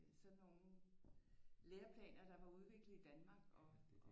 Sådan nogle lærerplaner der var udviklet i Danmark og